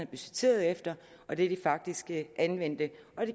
budgetteret efter og det de faktisk har anvendt det